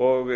og